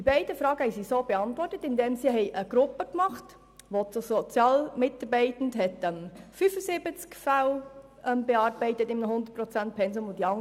Die beiden Fragen wurden beantwortet, indem eine Gruppe gebildet wurde, in welcher ein Sozialarbeitender mit einem 100-Prozent-Pensum 75 Fälle pro Jahr bearbeitete.